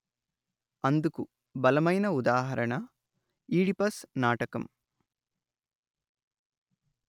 అందుకు బలమైన ఉదాహరణ ఈడిపస్ నాటకం